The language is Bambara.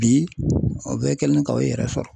Bi o bɛɛ kɛlen ka i yɛrɛ sɔrɔ.